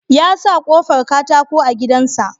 Ya sa kofar katako a gidan sa